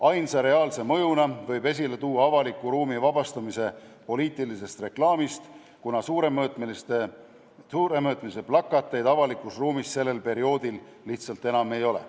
Ainsa reaalse mõjuna võib esile tuua avaliku ruumi vabastamise poliitilisest reklaamist, kuna suuremõõtmelisi plakateid avalikus ruumis sellel perioodil lihtsalt enam ei ole.